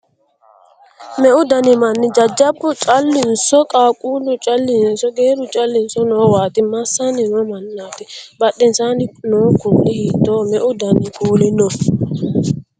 Meu dani manni: jajjabbu callinso? qaaqquullu callinso? geerru callinso? Noowaati? Massanni no mannaati? Badhensaanni noo kuuli hiittooho? Meu dani kuuli no?